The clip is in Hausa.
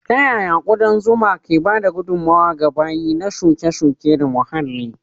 Ta yaya ƙudan zuma ke ba da gudummawa ga baye na shuke-shuke da muhalli?